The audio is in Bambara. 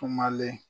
Kumalen